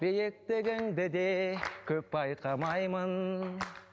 биіктігіңді де көп байқамаймын